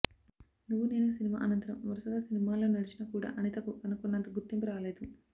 నువ్వు నేను సినిమా అనంతరం వరుసగా సినిమాలలో నడిచిన కూడా అనితకు అనుకున్నంత గుర్తింపు రాలేదు